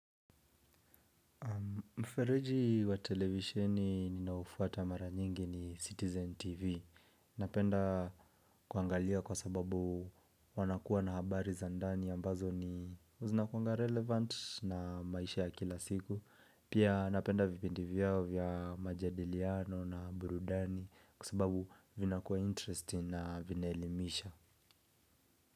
Mfereji wa televisheni ninaofuata mara nyingi ni Citizen TV. Napenda kuangalia kwa sababu wanakuwa na habari za ndani ambazo ni zinakuanga relevant na maisha ya kila siku. Pia napenda vipendi vyao vya majadiliano na burudani kwa sababu vinakuwa interesting na vina elimisha.